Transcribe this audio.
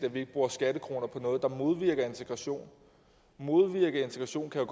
at vi ikke bruge skattekroner på noget der modvirker integration at modvirke integration kan